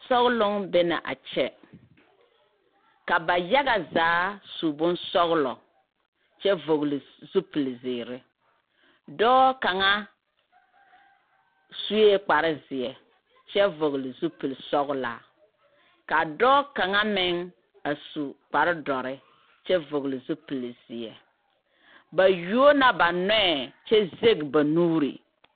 Sͻgeloŋ be na a kyԑ. Ka ba yaga zaa su bonsͻgele kyԑ zupili zeere. Dͻͻ kaŋa sue kpare zeԑ kyԑ vͻgele zupili sͻgelaa ka dͻͻ kaŋa meŋ a su kpare dͻre kyԑ vͻgele zupili zeԑ. Ba yuo na ba noԑ kyԑ zԑge ba nuuri.